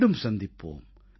மீண்டும் சந்திப்போம்